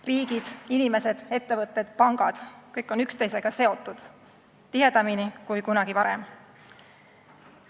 Riigid, inimesed, ettevõtted, pangad – kõik on üksteisega seotud tihedamini kui kunagi varem.